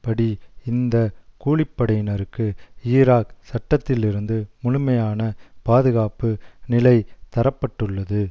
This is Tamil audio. படி இந்த கூலி படையினருக்கு ஈராக் சட்டத்திலிருந்து முழுமையான பாதுகாப்பு நிலை தர பட்டுள்ளது